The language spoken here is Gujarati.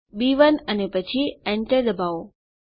બી1 અને પછી Enter દબાવો